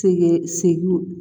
Sɛgɛn segin